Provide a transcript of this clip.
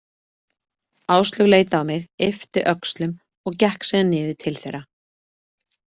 Áslaug leit á mig, yppti öxlum og gekk síðan niður til þeirra.